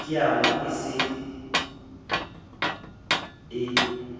ya diabo e se e